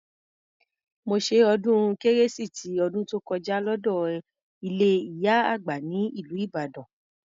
Mo ṣe ọdún kérésì ti ọdún tó kọjá lọ́dọ ilé ìyá àgbà ní ìlú Ìbàdàn.